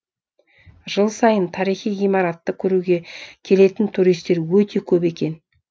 жыл сайын тарихи ғимаратты көруге келетін туристер өте көп екен